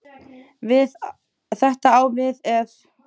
Þetta á við ef